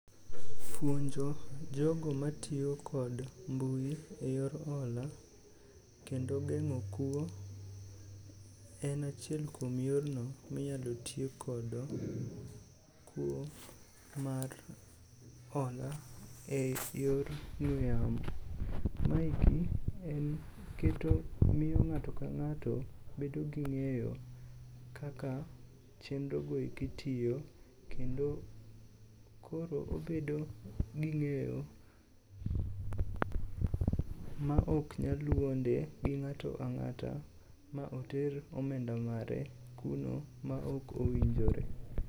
Puonjo jogo matiyo kod mbui e yor hola kendo geng'o kuo en achiel kuom yorno minyalo ti kodo kuo mar hola e yor ong'we yamo. Maeki en keto miyo ng'ato ka ng'ato bedo gi ng'eyo kaka chenrogo eki tiyo kendo koro obedo gi ng'eyo maok nyal wuonde gi ng'ato ang'ata ma oter omenda mare kuno maok owinjore.